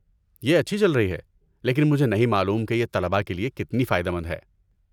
یہ اچھی چل رہی ہے لیکن مجھے نہیں معلوم کہ یہ طلباء کے لیے کتنی فائدہ مند ہے۔